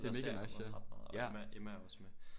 Jeg ser Magnus ret meget og Emma Emma er også med